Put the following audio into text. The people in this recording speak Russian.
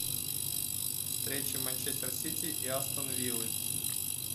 встреча манчестер сити и астон виллы